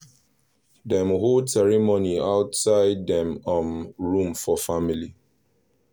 dem hold ceremony outside make um room for family